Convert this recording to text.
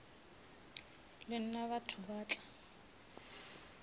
le nna batho ba tla